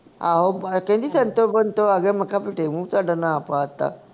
ਆਹੋ ਕਹਿੰਦੀ ਸੰਤੋ ਬੰਤੋ ਆ ਗਈਆਂ ਮੈਂ ਕਿਹਾ ਫਿੱਟੇ ਮੂੰਹ ਤੁਹਾਡਾ ਨਾਂ ਪਾ ਤਾ